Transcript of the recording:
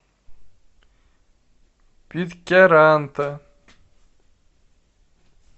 питкяранта